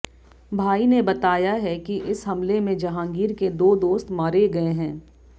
भाई ने बताया है कि इस हमले में जहांगीर के दो दोस्त मारे गए हैं